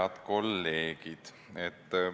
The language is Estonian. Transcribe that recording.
Head kolleegid!